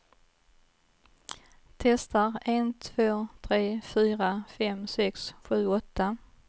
Testar en två tre fyra fem sex sju åtta.